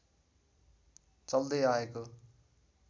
चल्दै आएको